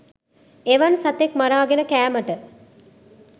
එවන් සතෙක් මරාගෙන කෑමට